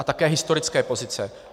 A také historické pozice.